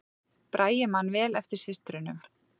Bragi man vel eftir systrunum